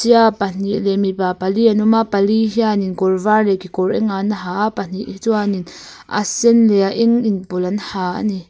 ia pahnih leh mipa pali an awm a pali hianin kawr var leh kekawr eng an ha a pahnih hi chuanin a sen leh a eng inpawlh an ha a ni.